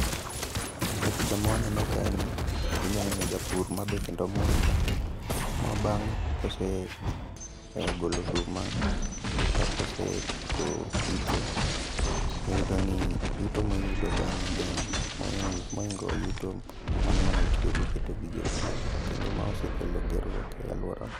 E picha ma waneno kae ni, inya neno japur ma be kendo mor. Ma bang' kose golo oduma, kata kosetieko pitho, iyudo ni yuto moyudo bang'e ng'eny moingo yuto mano manotiyogo keto gigo e puodho. Kendo ma osekelo gerruok e alworawa.